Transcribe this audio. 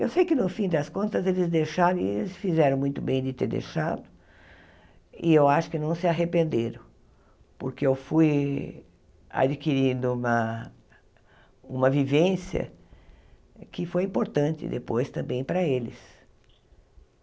Eu sei que, no fim das contas, eles deixaram, e eles fizeram muito bem de ter deixado, e eu acho que não se arrependeram, porque eu fui adquirindo uma uma vivência que foi importante depois também para eles.